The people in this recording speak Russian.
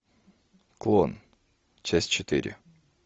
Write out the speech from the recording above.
клон часть четыре